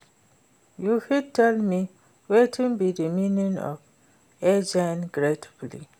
you fit tell me wetin be di meaning of aging gracefully?